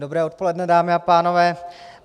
Dobré odpoledne, dámy a pánové.